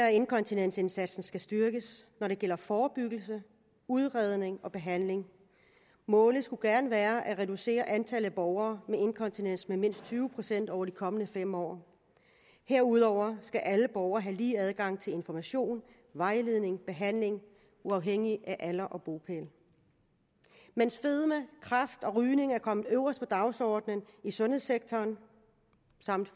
at inkontinensindsatsen skal styrkes når det gælder forebyggelse udredning og behandling målet skulle gerne være at reducere antallet af borgere med inkontinens med mindst tyve procent over de kommende fem år herudover skal alle borgere have lige adgang til information vejledning og behandling uafhængigt af alder og bopæl mens fedme kræft og rygning er kommet øverst på dagsordenen i sundhedssektoren